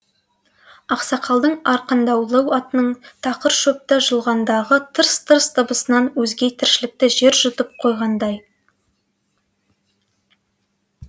ақсақалдың арқандаулы атының тақыр шөпті жұлғандағы тырс тырс дыбысынан өзге тіршілікті жер жұтып қойғандай